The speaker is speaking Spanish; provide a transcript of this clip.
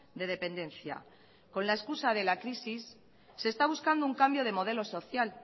de dependencia con la excusa de la crisis se está buscando un cambio de modelo social